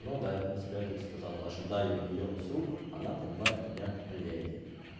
ну да я в принципе это сказал ожидаю её с рук она понимает меня леди